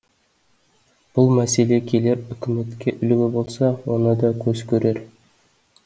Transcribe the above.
бұл мәселе келер үкіметке үлгі болса оны да көз көрер